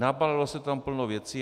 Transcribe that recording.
Nabalilo se tam plno věcí.